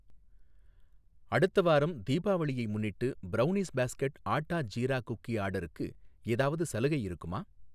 அடுத்த வாரம் தீபாவளியை முன்னிட்டு brownies basket atta jeera cookie ஆர்டருக்கு ஏதாவது சலுகை இருக்குமா?